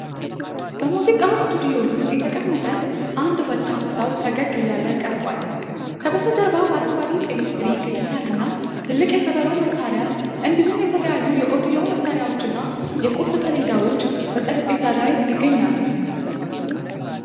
በሙዚቃ ስቱዲዮ ውስጥ የተቀመጠ አንድ ወጣት ሰው ፈገግ እያለ ቀርቧል። ከበስተጀርባው አረንጓዴ ኤሌክትሪክ ጊታር እና ትልቅ የከበሮ መሣሪያ እንዲሁም የተለያዩ የኦዲዮ መሣሪያዎች እና የቁልፍ ሰሌዳዎች በጠረጴዛ ላይ ይገኛሉ።